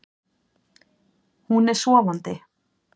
Hún er sofandi.